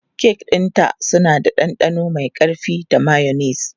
Kek ɗinta suna da ɗanɗano mai ƙarfi da mayonnaise.